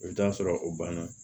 I bɛ t'a sɔrɔ o banna